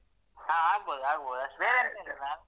ಹ ಆಗ್ಬಹುದು ಆಗ್ಬಹುದು ಅಷ್ಟೇ.